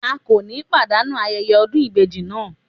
A kò ní pàdánù ayẹyẹ ọdún ìbejì náà.